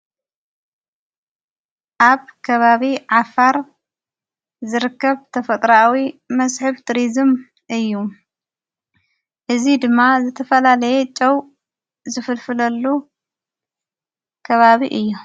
ኣብ ከባቢ ዓፋር ዘርከብ ተፈጥራዊ መስሒብ ትሪዝም እዩ እዝ ድማ ዘተፈላለየ ጨው ዘፍልፍለሉ ከባቢ እዩ።